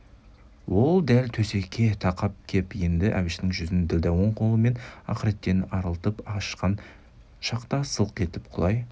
ол дәл төсекке тақап кеп енді әбіштің жүзін ділдә оң қолымен ақыреттен арылтып ашқан шақта сылқ етіп құлай